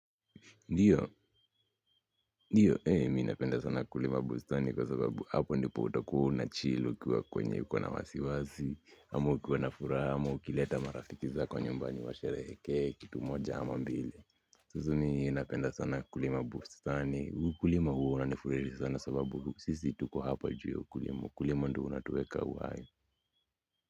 Ndiyo ndiyo mimi napenda sana kulima bustani kwa sababu hapo ndipo utakuwa unachill ukiwa kwenye uko na wasiwasi amu ukiwa na furaha ama ukileta marafiki zako nyumbani washerehrke kitu moja ama mbili hususan napenda sana kulima bustani huu kulima huu unanifurahisha sana sababu sisi tuko hapa juu ya ukulima ukulima ndyo unatueka uhai.